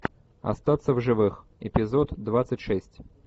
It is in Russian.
остаться в живых эпизод двадцать шесть